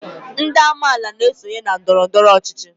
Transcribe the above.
Ndị amaala na-esonye na ndọrọndọrọ ọchịchị